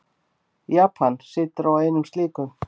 Japan situr á einum slíkum.